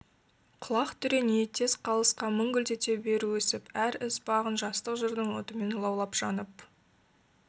құлақ түре ниеттес қалысқа мың гүлдете бер өсіп әр іс бағын жастық жырдың отымен лаулап жанып